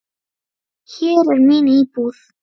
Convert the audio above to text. Hér er mín íbúð!